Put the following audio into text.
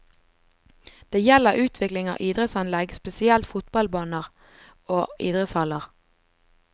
Det gjelder utvikling av idrettsanlegg, spesielt fotballbaner og idrettshaller.